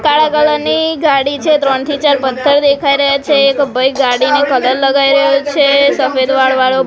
કાળા કલર ની ગાડી છે ત્રણ થી ચાર પથ્થર દેખાય રહ્યા છે એક ભઈ ગાડીને કલર લગાય રહ્યો છે સફેદ વાળ વાળો--